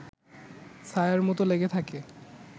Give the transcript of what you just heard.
ছায়ার মতো লেগে থাকে